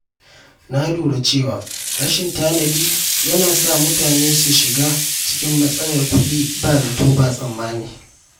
Na lura cewa rashin tanadi yana sa mutane shiga cikin matsalar kuɗi ba zato ba tsammani.